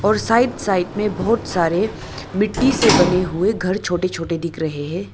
और side side में बहुत सारे मिट्टी से बने हुए घर छोटे छोटे दिख रहे हैं।